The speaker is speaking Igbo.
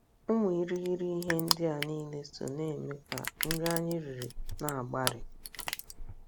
Ụmụ irighiri ihe ndị a niile so na - eme ka nri anyị riri na - agbari.